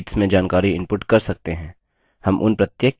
हम उन प्रत्येक के बारे में एकएक करके सीखेंगे